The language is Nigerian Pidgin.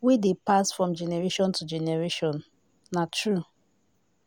wey dey pass from generation to generation na true